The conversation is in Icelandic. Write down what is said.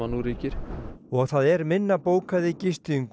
nú ríkir og það er minna bókað í gistingu